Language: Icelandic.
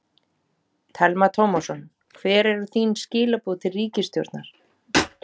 Telma Tómasson: Hver eru þín skilaboð til ríkisstjórnar?